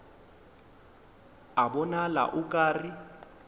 a bonala o ka re